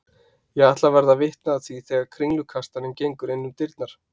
Ég ætla að verða vitni að því þegar kringlukastarinn gengur innum dyrnar.